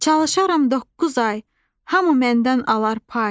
Çalışaram doqquz ay, hamı məndən alar pay.